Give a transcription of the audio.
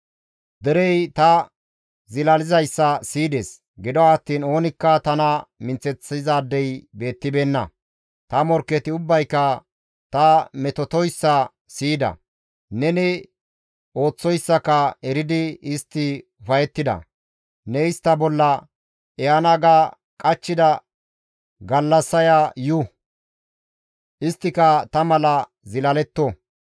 «Derey ta zilalizayssa siyides; gido attiin oonikka tana minththeththizaadey beettibeenna; ta morkketi ubbayka ta metotoyssa siyida; neni ooththoyssaka eridi istti ufayettida; ne istta bolla ehana ga qachchida gallassaya yu; isttika ta mala zilaletto.